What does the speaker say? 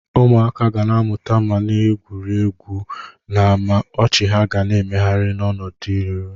Ụmụaka ga-amụta ma na-egwuri egwu n'ámá, ọchị ha na-emegharị n'ọdịnihu.